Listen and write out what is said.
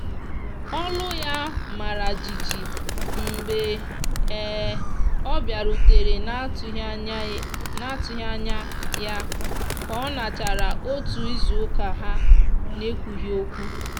olụ ya mara jịjị mgbe um ọ biarutere na atughi anya ya ka ọnochara ọtụ izụ uka ha na ekwụghi okwụ.